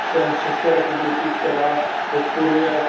Jsem z České republiky, která podporuje